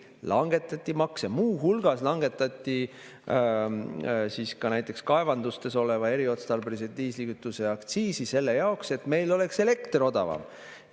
Langetati makse, muu hulgas langetati ka näiteks kaevandustes eriotstarbelise diislikütuse aktsiisi selle jaoks, et meil oleks elekter odavam.